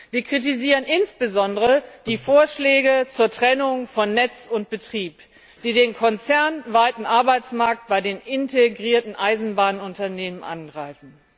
Wir kritisieren insbesondere die Vorschläge zur Trennung von Netz und Betrieb, die den konzernweiten Arbeitsmarkt bei den integrierten Eisenbahnunternehmen angreifen.